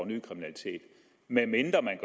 ny kriminalitet medmindre man